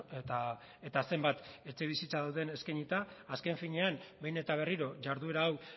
eta zenbat etxebizitza dauden eskainita azken finean behin eta berriro jarduera hau